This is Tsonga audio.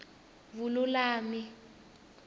vululami